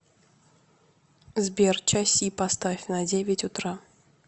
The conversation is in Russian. сбер часи поставь на девять утра